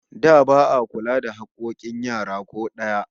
Da ba'a kula da hakkokin yara ko daya